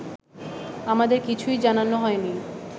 আমাদের কিছুই জানানো হয়নি